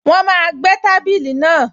Wọ́n máa gbẹ́ tábìlì náà